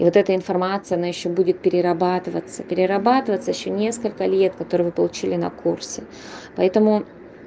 вот эта информация она ещё будет перерабатываться перерабатываться ещё несколько лет которые вы получили на курсе поэтому